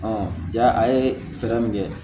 ja a ye fɛɛrɛ min kɛ